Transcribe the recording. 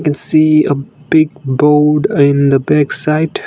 we see a big board in the back side.